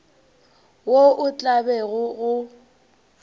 wo o tla bego o